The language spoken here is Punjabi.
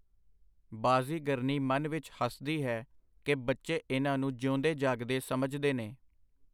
ਬਾਜ਼ੀਗਰਨੀ ਮਨ ਵਿੱਚ ਹੱਸਦੀ ਹੈ ਕਿ ਬੱਚੇ ਇਨ੍ਹਾਂ ਨੂੰ ਜਿਊਂਦੇ ਜਾਗਦੇ ਸਮਝਦੇ ਨੇ.